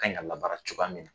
Kan in ka labaara cogoya minɛ na.